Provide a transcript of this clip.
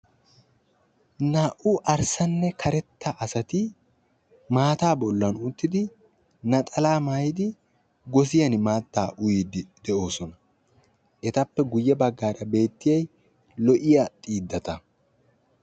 naa"u arssanne karetta asati maataa bollan uttidi naxalaa maayidi gosiyani maatta uyiddi de"oosona. Etappe guye baggaara beettiyayi lo"iya xiidata.